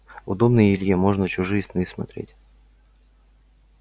удобно и илье можно чужие сны смотреть